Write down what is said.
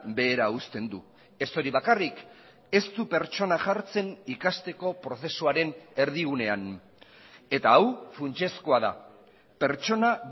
behera uzten du ez hori bakarrik ez du pertsona jartzen ikasteko prozesuaren erdigunean eta hau funtsezkoa da pertsona